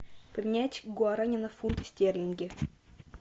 поменять гуарани на фунты стерлинги